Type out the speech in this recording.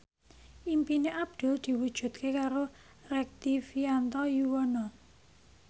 impine Abdul diwujudke karo Rektivianto Yoewono